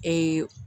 Ee